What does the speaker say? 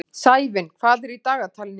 Sævin, hvað er í dagatalinu í dag?